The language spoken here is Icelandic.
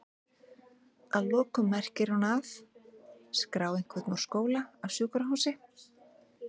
Að lokum merkir hún að?skrá einhvern úr skóla, af sjúkrahúsi?